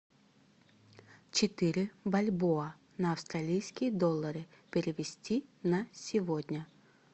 четыре бальбоа на австралийские доллары перевести на сегодня